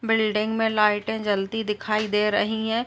Building में लाइटें जलती दिखाई दे रही हैं।